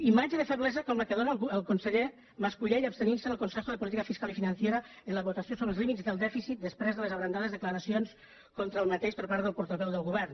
imatge de feblesa com la que dóna el conseller mas colell abstenint se en el consejo de política fiscal y financiera en la votació sobre els límits del dèficit després de les abrandades declaracions contra aquest per part del portaveu del govern